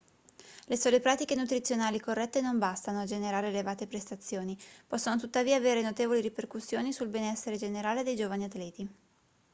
le sole pratiche nutrizionali corrette non bastano a generare elevate prestazioni possono tuttavia avere notevoli ripercussioni sul benessere generale dei giovani atleti